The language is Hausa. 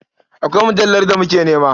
Akwai mujallar da muke nema.